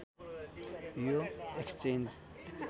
यो एक्सचेन्ज